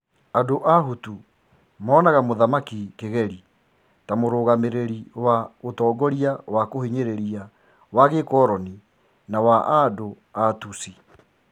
Andũ a Hutu monaga Mũthamaki Kigeli ta mũrũgamireri wa "ũtongoria wa kũhinyiriria wa gikoloni na wa andũ a Tutsi.